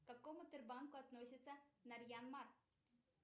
к каком сбербанку относится нарьян мар